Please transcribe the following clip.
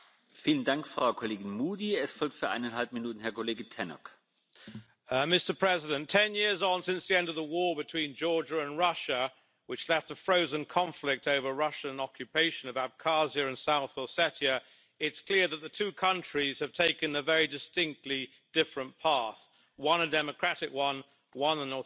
Mr President, ten years on since the end of the war between Georgia and Russia, which left a frozen conflict over Russian occupation of Abkhazia and South Ossetia, it's clear that the two countries have taken a very distinctly different path one a democratic one, one an authoritarian one.